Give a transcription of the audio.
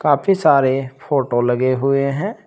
काफी सारे फोटो लगे हुए हैं।